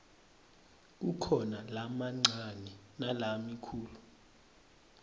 kukhona lamancane nalamikhulu